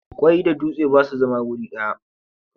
Ƙwai da dutse ba su zama wuri guda.